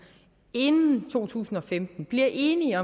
inden to tusind og femten bliver enige